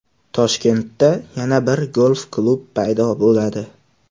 Toshkentda yana bir golf-klub paydo bo‘ladi.